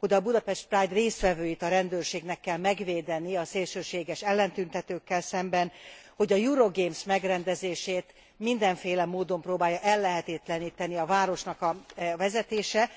hogy a Budapest Pride résztvevőit a rendőrségnek kell megvédenie a szélsőséges ellentüntetőkkel szemben, hogy a Euro Gays megrendezését mindenféle módon próbálja ellehetetleníteni a város a vezetése.